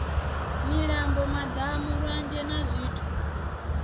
milambo madamu lwanzhe na zwithu